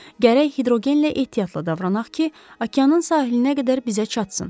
Gərək hidrogenlə ehtiyatla davranaq ki, okeanın sahilinə qədər bizə çatsın.